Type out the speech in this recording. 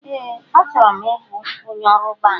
Ee, achọrọ m ịbụ onye ọrụ banki